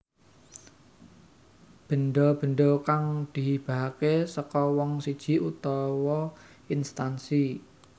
Benda benda kang dihibahake saka wong siji utawa instansi